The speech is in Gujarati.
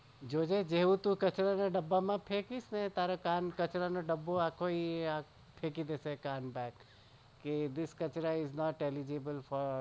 જો જે તું જેવું કાન કચરાના ડબ્બા માં નાખીશ તો તારો કાન કચરાનો ડબ્બો બહાર નાખી દેશે this kachra is not eligible for